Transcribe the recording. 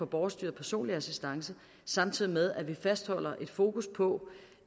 borgerstyret personlig assistance samtidig med at vi fastholder et fokus på